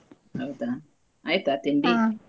ಹೌದಾ ಆಯ್ತಾ ?